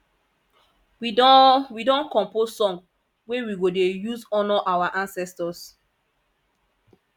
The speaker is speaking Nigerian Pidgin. we don we don compose song wey we go dey use honour our ancestors